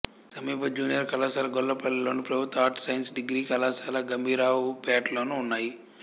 సమీప జూనియర్ కళాశాల గొల్లపల్లిలోను ప్రభుత్వ ఆర్ట్స్ సైన్స్ డిగ్రీ కళాశాల గంభీరావుపేట్లోనూ ఉన్నాయి